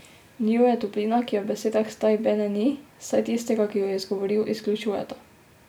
V njiju je toplina, ki je v besedah stai bene ni, saj tistega, ki ju je izgovoril, izključujeta.